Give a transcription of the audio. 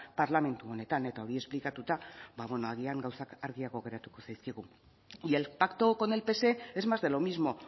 parlamentu honetan eta hori esplikatuta ba agian gauzak argiago geratuko zaizkigu y el pacto con el pse es más de lo mismo